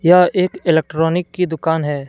यह एक इलेक्ट्रॉनिक की दुकान है।